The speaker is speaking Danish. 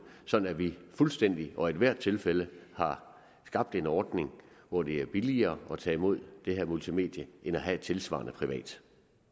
sådan at vi fuldstændig og i ethvert tilfælde har skabt en ordning hvor det er billigere at tage imod det her multimedie end at have et tilsvarende privat